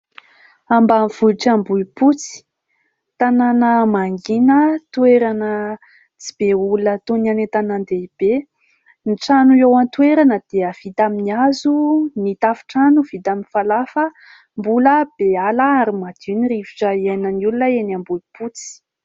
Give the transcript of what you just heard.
Ambanivohitra Ambohimpotsy, tanàna mangina toerana tsy be olona toy ny any an-tanan-dehibe. Ny trano eo an-toerana dia vita amin'ny hazo, ny tafontrano vita amin'ny falafa, mbola be ala ary madio ny rivotra iainan'ny olona eny Ambohimpotsy.